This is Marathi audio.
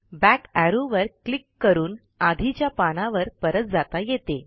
बॅक एरो वर क्लिक करून आधीच्या पानावर परत जाता येते